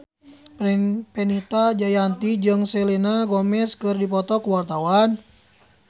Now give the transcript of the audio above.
Fenita Jayanti jeung Selena Gomez keur dipoto ku wartawan